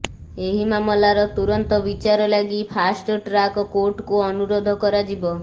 ଏହି ମାମଲାର ତୁରନ୍ତ ବିଚାର ଲାଗି ଫାଷ୍ଟଟ୍ରାକ୍ କୋର୍ଟକୁ ଅନୁରୋଧ କରାଯିବ